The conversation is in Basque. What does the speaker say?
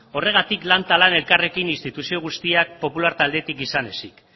horregatik lan eta lan elkarrekin instituzio guztiak popular taldetik izan ezik